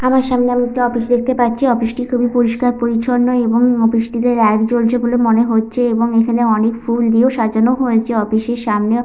আমার সামনে আমি একটি অফিস দেখতে পাচ্ছি। অফিস -টি খুবই পরিস্কার পরিছন্ন এবং অফিস -টিতে লাইট জ্বলছে বলে মনে হচ্ছে এবং এখানে অনেক ফুল দিয়েও সাজানো হয়েছে। অফিস -এর সামনে।